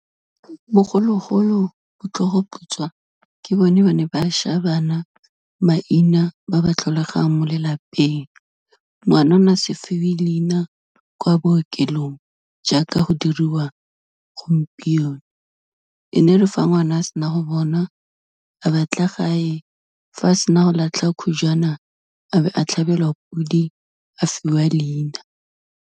Bogologolo, botlhogoputswa ke bone ba ne ba shaya bana maina, ba ba tlholegang mo lelapeng. Ngwana o ne a se fiwe leina kwa bookelong, jaaka go diriwa gompieno, e ne re fa ngwana a sena go bonwa a batla gae, fa a sena go latlha khujwana, a be a tlhabelwa podi, a fiwa leina.